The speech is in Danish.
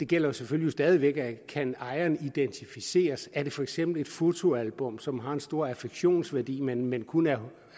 gælder selvfølgelig stadig væk at kan ejeren identificeres er det for eksempel et fotoalbum som har en stor affektionsværdi men men kun er